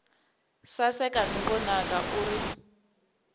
saseka no vonaka u ri